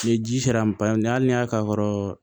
Ni ji sera an ma hali n'a y'a ka kɔrɔ